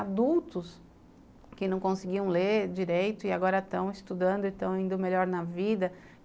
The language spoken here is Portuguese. Adultos que não conseguiam ler direito e agora estão estudando e estão indo melhor na vida.